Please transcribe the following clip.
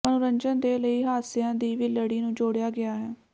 ਮਨੋਰੰਜਨ ਦੇ ਲਈ ਹਾਸਿਆਂ ਦੀ ਵੀ ਲੜੀ ਨੂੰ ਜੋੜਿਆ ਗਿਆ ਹੈ